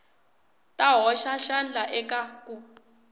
ta hoxa xandla eka ku